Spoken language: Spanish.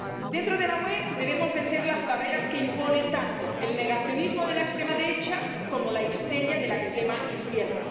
Dentro de la UE debemos vencer las barreras que impone tanto el negacionismo de la extrema derecha como la histeria de la extrema izquierda.